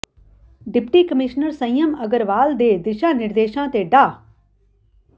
deputy commissioner Sanyam Agarwal ਦੇ ਦਿਸ਼ਾ ਨਿਰਦੇਸ਼ਾਂ ਤੇ ਡਾ